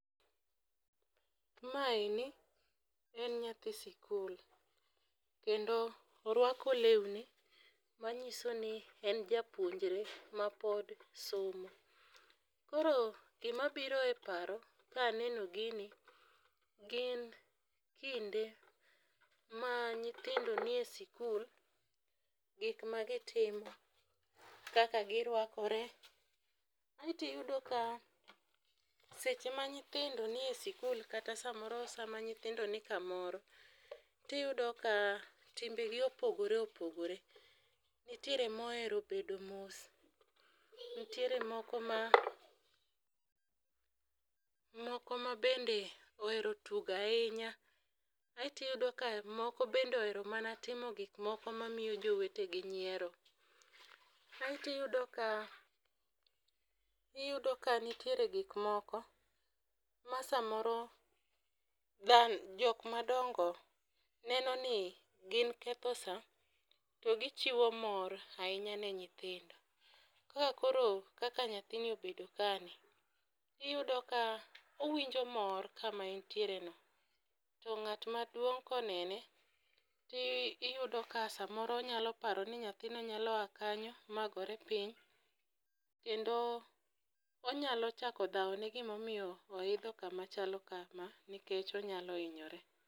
Maeni en nyathi sikul kendo orwako lewni manyiso ni en japuonjre mapod somo. Koro gima biro e paro kaneno gini gin kinde ma nyithindo ni e sikul gik ma gitimo, kaka girwakore. Aeto iyudo ka seche ma nyithindo nie sikul kata samoro nyithindo ni kamoro tiyudo ka timbe gi opogore opgore. Nitiere mohero bedo mos, nitiere moko ma moko ma bende ohero tugo ahinya, aeto iyudo ka moko bedde ohero timo gik moko mamiyo jowetegi nyiero. Aeto iyudo ka iyudo ka nitiere gik moko ma samoro dha jok madongo neno ni gin ketho saa to gichiwo mor ahinya ne nyithindo. Ka koro kaka nythini obedo kani , iyudo ka owinjo mor kama entiere no to ng'at maduong' konene ti iyudo ka samoro onyalo paro ni nyathina nyalo aa kanyo magore piny kendo onyalo chako dhawo ne gimomiyo oidho kuma chalo kama nikech onyalo hinyore.